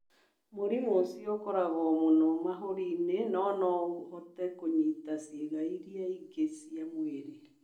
Mũrimũ ũcio ũkoragwo mũno mahũri-inĩ no no ũhote kũnyita ciĩga iria ingĩ cia mwĩrĩ.